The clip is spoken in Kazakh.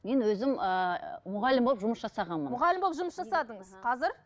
мен өзім ыыы мұғалім болып жұмыс жасағанмын мұғалім болып жұмыс жасадыңыз қазір